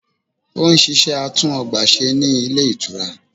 Ó n ṣiṣẹ́ atún ọgbà ṣe ní Ilé Ìtura